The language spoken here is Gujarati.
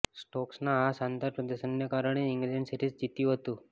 સ્ટોક્સના આ શાનદાર પ્રદર્શનને કારણે ઇંગ્લેન્ડ સિરીઝ જીત્યું હતું